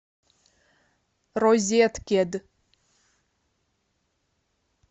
розеткед